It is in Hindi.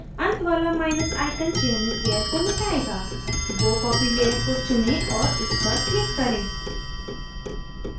अंत वाला माइनस icon चयनित layer को मिटाएगा bow copy layer को चुनें और इस पर click करें